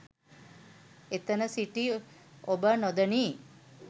එතන සිටි ඔබ නොදනී